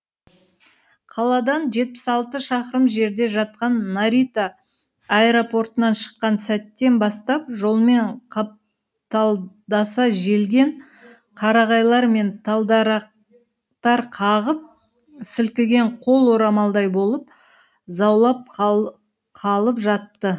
қаладан жетпіс алты шақырым жерде жатқан нарита аэропортынан шыққан сәттен бастап жолмен қапталдаса желген қарағайлар мен тал дарақтар қағып сілкіген қол орамалдай болып заулап қалып жатты